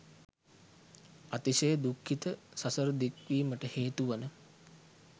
අතිශය දුක්ඛිත සසර දික්වීමට හේතුවන